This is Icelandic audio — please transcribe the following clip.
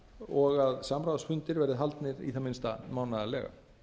og að samráðsfundir verði haldnir í það minnsta mánaðarlega